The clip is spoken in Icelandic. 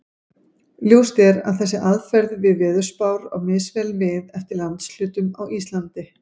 Ljóst er að þessi aðferð við veðurspár á misvel við eftir landshlutum á Íslandi.